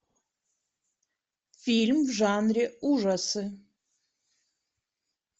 фильм в жанре ужасы